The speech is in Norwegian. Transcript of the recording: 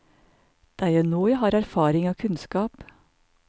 Det er jo nå jeg har erfaring og kunnskap.